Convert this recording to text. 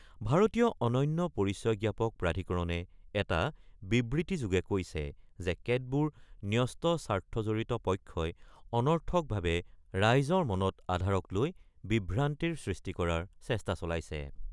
ভাৰতীয় অনন্য পৰিচয় জ্ঞাপক প্ৰাধিকৰণে এটা বিবৃতিযোগে কৈছে যে কেতবোৰ ন্যস্ত স্বাৰ্থজড়িত পক্ষই অনৰ্থকভাৱে ৰাইজৰ মনত আধাৰক লৈ বিভ্ৰান্তিৰ সৃষ্টি কৰাৰ চেষ্টা চলাইছে।